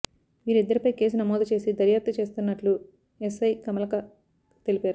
వీరిద్దరిపై కేసు నమోదు చేసి దర్యాప్తు చేస్తున్నట్లు ఎస్ఐ కమలాకర్ తెలిపారు